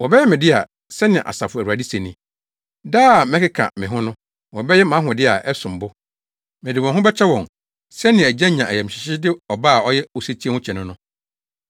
“Wɔbɛyɛ me dea,” sɛnea, Asafo Awurade se ni. Da a mɛkeka me ho no, wɔbɛyɛ mʼahode a ɛsom bo. Mede wɔn ho bɛkyɛ wɔn, sɛnea agya nya ayamhyehye de ɔba a ɔyɛ osetie ho kyɛ no no.